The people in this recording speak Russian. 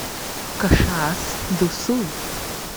кашиас ду сул